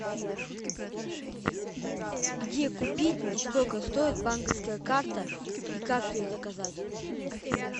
где купить и сколько стоит банковская карта и как ее заказать